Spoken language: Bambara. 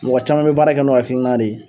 mɔgɔ caman bɛ baara kɛ n'o hakilina de